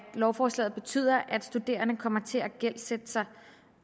lovforslaget betyder at studerende kommer til at gældsætte sig